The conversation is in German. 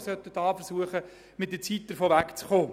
Wir sollten versuchen, mit der Zeit davon wegzukommen.